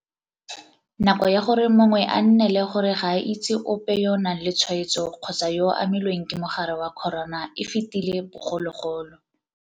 Nako ya gore mongwe a nnele gore ga a itse ope yo o nang le tshwaetso kgotsa yo a amilweng ke mogare wa corona e fetile bogologolo.